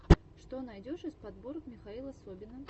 что найдешь из подборок михаила собина